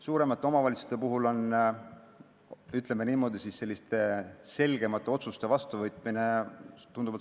Suurematel omavalitsustel on, ütleme niimoodi, tunduvalt suurem võimalus selgemaid otsuseid vastu võtta.